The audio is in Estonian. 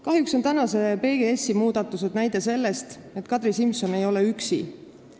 Kahjuks on PGS-i muudatused näide selle kohta, et Kadri Simson ei ole üksi.